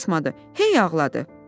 Qulaq asmadı, hey ağladı.